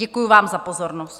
Děkuji vám za pozornost.